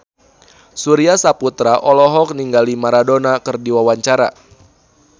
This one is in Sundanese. Surya Saputra olohok ningali Maradona keur diwawancara